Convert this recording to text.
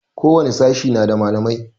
Ko wani sashe na da malamai